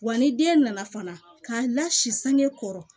Wa ni den nana fana k'a la si sange kɔrɔ